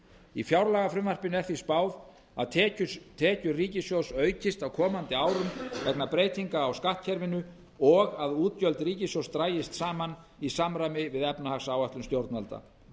í fjárlagafrumvarpinu er því spáð að tekjur ríkissjóðs aukist á komandi árum vegna breytinga á skattkerfinu og að útgjöld ríkissjóðs dragist saman í samræmi við efnahagsáætlun stjórnvalda